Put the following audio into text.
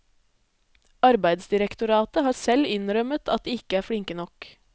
Arbeidsdirektoratet har selv innrømmet at de ikke er flinke nok.